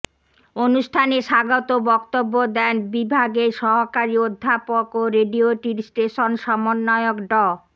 অনুষ্ঠানে স্বাগত বক্তব্য দেন বিভাগের সহকারী অধ্যাপক ও রেডিওটির স্টেশন সমন্বয়ক ড